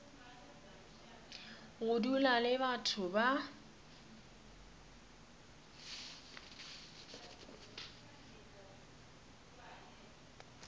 go dula le batho ba